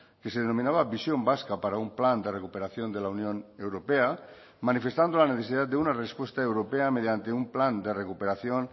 que se denominaba visión vasca para un plan de recuperación de la unión europea manifestando la necesidad de una respuesta europea mediante un plan de recuperación